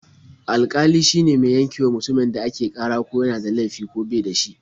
Alƙali shine mai yankewa mutumin da ake ƙara ko yana da laifi ko ba shi da shi.